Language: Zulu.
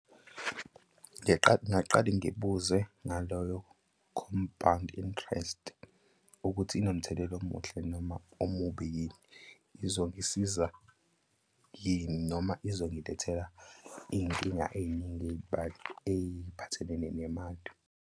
Ngiqale, ngingaqali ngibuze ngaloyo-compound interest ukuthi inomthelela omuhle noma omubi yini? Izongisiza yini? Noma izongilethela iy'nkinga ey'ningi ey'phathelene nemali?